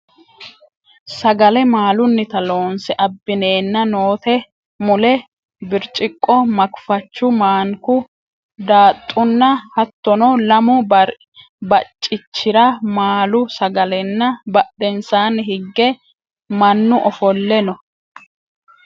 sagale maalunnita loonse abbineenna noote mule birciqqo makifachu maanku daaxxunna hattono lamu baccichira maaalu sagalenna badhensaanni hige mannu ofolle no